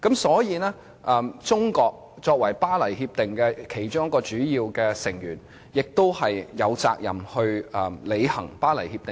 所以，中國作為《協定》的其中一名主要成員，亦有責任履行《協定》。